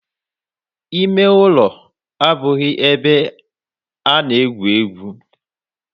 Ime ulo abughi ebe a na-egwu egwu.